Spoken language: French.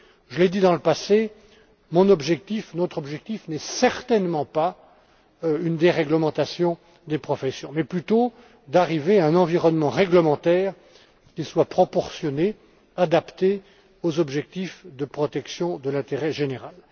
Je l'ai dit dans le passé, mon objectif, notre objectif n'est certainement pas une déréglementation des professions mais plutôt d'arriver à un environnement réglementaire qui soit proportionné et adapté aux objectifs de protection de l'intérêt général.